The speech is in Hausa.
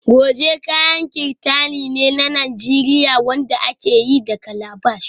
Goje kayan kirtani ne na Najeriya wanda aka yi da calabash